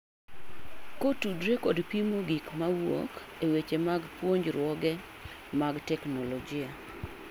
Ko tudre kod pimo gik mawuok e weche mag puojruoge mag technologi